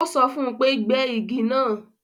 Ó sọ fún un pé gbẹ́ igi náà